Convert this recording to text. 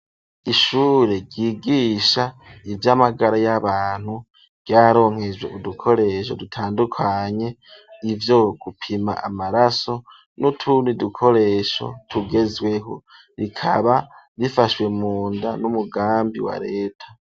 Ishure ryigisha ivy'amagara y'abantu ryaronkejwe udukoresho dutandukanye, ivyo gupima amaraso n'utundi dukoresho tugezweho ,rikaba rifashwe munda n'umugambi wa Leta.